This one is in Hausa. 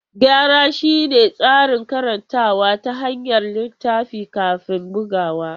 Gyara shine tsarin karantawa ta hanyar littafi kafin bugawa.